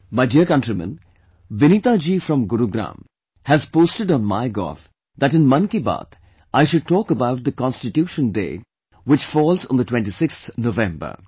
My dear countrymen, Vineeta ji from Gurugram has posted on MyGov that in Mann Ki Baat I should talk about the "Constitution Day" which falls on the26th November